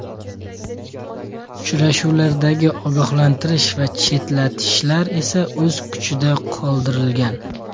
Uchrashuvlardagi ogohlantirish va chetlatishlar esa o‘z kuchida qoldirilgan.